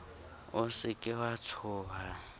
o se ke wa tshoha